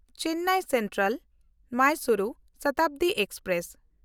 Chennai ᱥᱮᱱᱴᱨᱟᱞ–ᱢᱟᱭᱥᱩᱨᱩ Shatabdi express